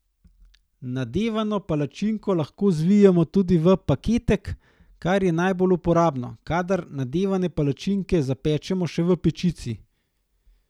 Nadevano palačinko lahko zvijemo tudi v paketek, kar je najbolj uporabno, kadar nadevane palačinke zapečemo še v pečici.